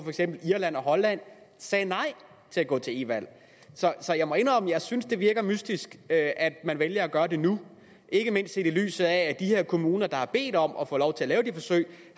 irland og holland sagde nej til at gå til e valg så jeg må indrømme at jeg synes det virker mystisk at at man vælger at gøre det nu ikke mindst set i lyset af at de her kommuner der har bedt om at få lov til at lave de forsøg